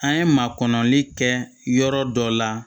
An ye makɔnɔli kɛ yɔrɔ dɔ la